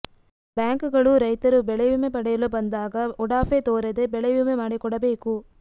ಬ್ಯಾಂಕ್ಗಳು ರೈತರು ಬೆಳೆವಿಮೆ ಪಡೆಯಲು ಬಂದಾಗ ಉಡಾಫೆ ತೋರದೆ ಬೆಳೆವಿಮೆ ಮಾಡಿಕೊಡಬೇಕು